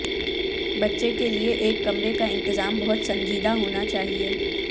بچے کے لئے ایک کمرے کا انتظام بہت سنجیدہ ہونا چاہئے